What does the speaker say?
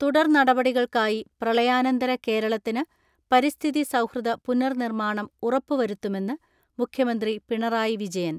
തുടർനടപടികൾക്കായി പ്രളയാനന്തര കേരളത്തിന് പരിസ്ഥിതി സൗഹൃദ പുനർനിർമ്മാണം ഉറപ്പു വരുത്തുമെന്ന് മുഖ്യമന്ത്രി പിണറായി വിജയൻ.